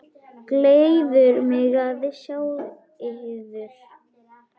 Gleður mig að sjá yður.